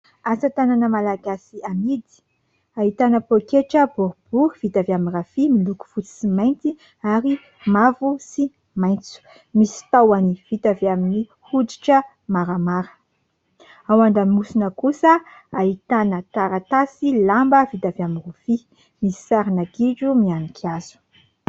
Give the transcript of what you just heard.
Asa tanana malagasy hamidy. Ahitana paoketra boribory vita avy amin'ny rafia miloko fotsy sy mainty ary mavo sy maintso. Misy tahony vita avy amin'ny hoditra maramara. Ao an-damosina kosa ahitana taratasy lamba vita avy amin'ny rofia, misy sarina gidro mianika azo.